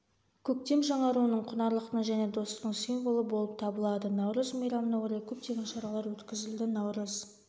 көктем жаңаруының құнарлықтың және достықтың символы болып табылады наурыз мейрамына орай көптеген шаралар өткізілді наурыз